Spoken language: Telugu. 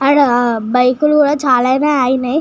అడ బైకులు కూడా చాల నే అగినయ్.